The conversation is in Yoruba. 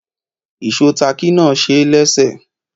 Ìsó táákì náà ṣeé léṣe